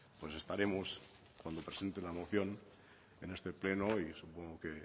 pues estaremos cuando presente la moción en este pleno y supongo que